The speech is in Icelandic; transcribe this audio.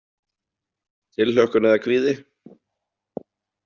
Tilhlökkun eða kvíði?